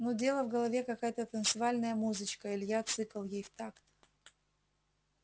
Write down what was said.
нудела в голове какая-то танцевальная музычка илья цыкал ей в такт